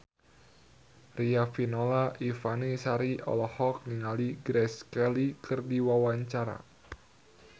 Riafinola Ifani Sari olohok ningali Grace Kelly keur diwawancara